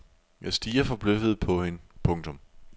Jeg stirrede forbløffet på hende. punktum